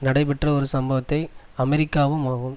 நடைபெற்ற ஒரு சம்பவத்தை அமெரிக்காவும் ஆகும்